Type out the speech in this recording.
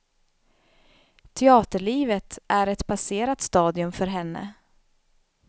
Teaterlivet är ett passerat stadium för henne.